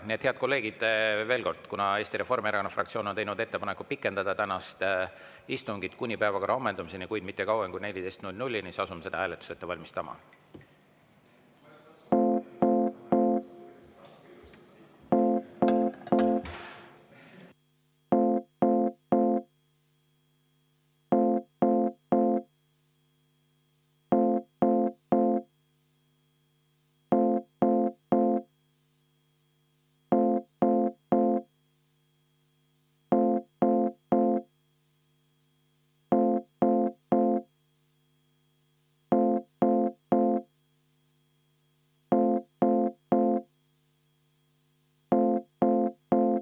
Nii et, head kolleegid, veel kord: kuna Eesti Reformierakonna fraktsioon on teinud ettepaneku pikendada tänast istungit kuni päevakorra ammendumiseni, kuid mitte kauem kui 14.00‑ni, siis asume seda hääletust ette valmistama.